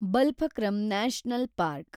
Balphakram national park